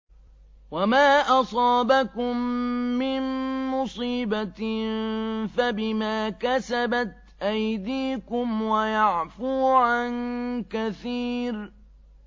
وَمَا أَصَابَكُم مِّن مُّصِيبَةٍ فَبِمَا كَسَبَتْ أَيْدِيكُمْ وَيَعْفُو عَن كَثِيرٍ